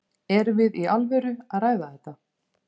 Erum við í alvöru að ræða þetta?